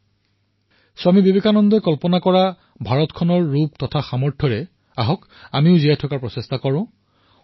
আহক স্বামী বিবেকানন্দজীয়ে যি ভাৰতৰ ৰূপ দেখিছিল যি ভাৰতক সামৰ্থ চিনাক্ত কৰিছিল সেই জীৱনযাপন কৰিবলৈ আমি চেষ্টা কৰো আহক